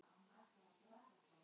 Hér er hún aldrei veik.